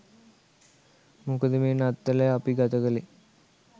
මොකද මේ නත්තල අපි ගතකලේ